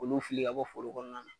K'olu fili ka bɔ foro kɔnɔna na.